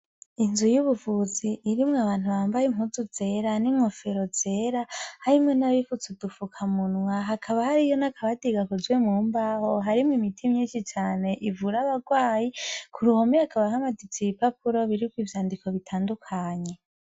Inzu y'ubuvuzi irimwe abantu bambaye impuzu zera n'inkofero zera harimwe n'abifutse dufuka munwa. Hakaba hariyo n'akabati gakozwe mu mbaho .Harimo imiti myinshi cane ivura abagwayi ku ruhome akaba hamanise i bipapuro biri ku ivyandiko bitandukanye.